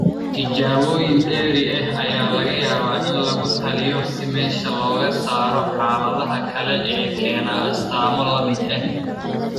Tijaabooyin dheeri ah ayaa laga yaabaa in lagu taliyo si meesha looga saaro xaaladaha kale ee keena astaamo la mid ah.